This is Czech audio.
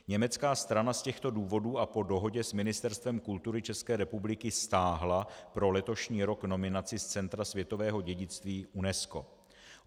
Německá strana z těchto důvodů a po dohodě s Ministerstvem kultury České republiky stáhla pro letošní rok nominaci z Centra světového dědictví UNESCO.